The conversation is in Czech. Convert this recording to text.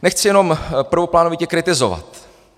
Nechci jenom prvoplánově kritizovat.